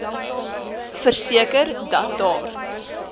verseker dat daar